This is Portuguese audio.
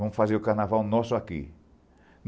Vamos fazer o carnaval nosso aqui.